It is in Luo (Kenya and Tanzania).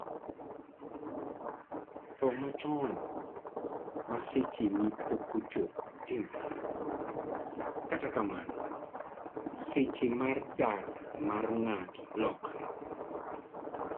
tho machon ma secheni pokochopo timore ,kata kamano seche mar dak mar ng'ato lokore